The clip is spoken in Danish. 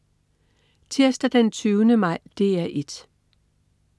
Tirsdag den 20. maj - DR 1: